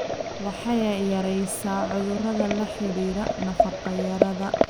Waxay yaraysaa cudurrada la xidhiidha nafaqo-darrada.